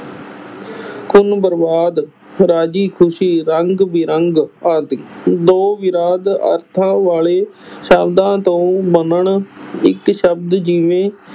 ਖ਼ੂਨ ਬਰਬਾਦ, ਰਾਜ਼ੀ ਖੁਸ਼ੀ, ਰੰਗ ਬਿਰੰਗ ਆਦਿ, ਦੋ ਵਿਰੋਧ ਅਰਥਾਂ ਵਾਲੇ ਸ਼ਬਦਾਂ ਤੋਂ ਬਣਨ ਇੱਕ ਸ਼ਬਦ ਜਿਵੇਂ